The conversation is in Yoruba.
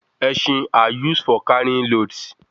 Esin are used for carrying loads